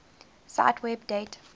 cite web date